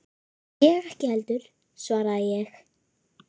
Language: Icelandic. Ég ekki heldur, svaraði ég.